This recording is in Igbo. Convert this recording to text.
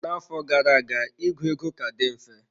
Na-afọ gara aga ịgụ ego ka dị mfe.